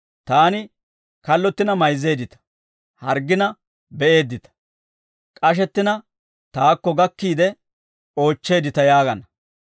Taani kallottina mayzzeeddita; harggina be'eeddita; k'ashettina taakko gakkiide oochcheeddita› yaagana.